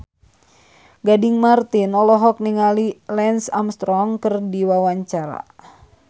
Gading Marten olohok ningali Lance Armstrong keur diwawancara